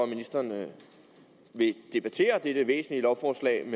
ministeren vil debattere dette væsentlige lovforslag